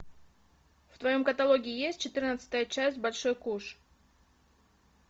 в твоем каталоге есть четырнадцатая часть большой куш